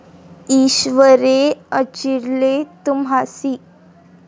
ईश्वरे अर्चिले तुम्हासी ।